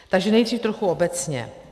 Takže nejdřív trochu obecně.